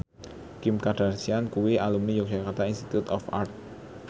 Kim Kardashian kuwi alumni Yogyakarta Institute of Art